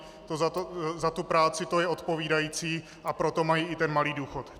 Za tu práci je to odpovídající, a proto mají i ten malý důchod.